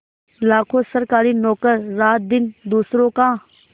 लाखों सरकारी नौकर रातदिन दूसरों का